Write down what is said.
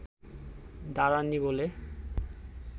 দাঁড়াননি বলে